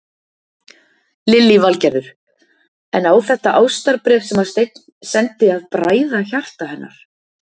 Lillý Valgerður: En á þetta ástarbréf sem að Steinn sendi að bræða hjarta hennar?